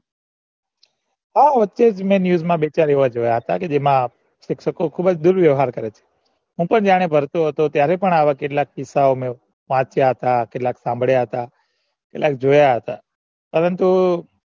અ વખતે news મ બે ચાર એવા જોયા હતા કે જેમના શિક્ષકો બૌ દુર વ્યવાર કરતા હોય છે હું પણ જયારે ભણતો હતો ત્યારે પણ આવા કિસ્સા ઓ ગણ વાંચ્યા હતા કેટલાક સાંભળ્યા હતા કેટલાક જોયા હતા પરંતુ